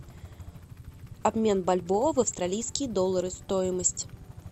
обмен бальбоа в австралийские доллары стоимость